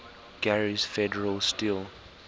gary's federal steel